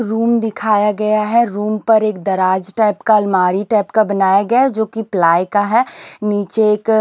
room दिखाया गया है रूम पर एक दराज टाइप का अलमारी टाइप का बनाया गया है जो कि प्लाई का है नीचे एक --